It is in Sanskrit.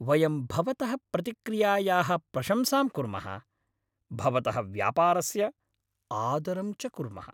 वयं भवतः प्रतिक्रियायाः प्रशंसां कुर्मः, भवतः व्यापारस्य आदरं च कुर्मः।